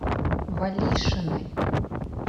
валишиной